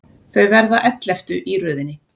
Þau verða elleftu í röðinni.